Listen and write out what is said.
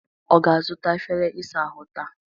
Ọ ga-azụta efere ịsa ahụ ahụ taa?